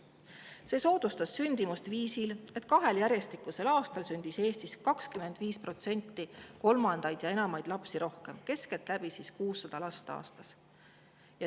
See soodustas sündimust viisil, et kahel järjestikusel aastal sündis Eestis 25% rohkem kolmandaid või enamaid lapsi – keskeltläbi 600 last aastas.